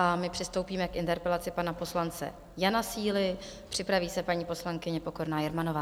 A my přistoupíme k interpelaci pana poslance Jana Síly, připraví se paní poslankyně Pokorná Jermanová.